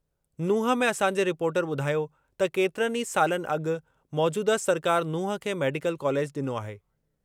नूंह में असांजे रिपोर्टर ॿुधायो त केतिरनि ई सालनि अॻु मौजूदह सरकार नूंह खे मेडिकल कॉलेज डि॒नो आहे।